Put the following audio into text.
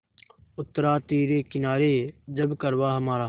उतरा तिरे किनारे जब कारवाँ हमारा